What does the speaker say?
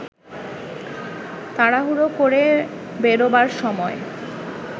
তাড়াহুড়ো করে বেরোবার সময়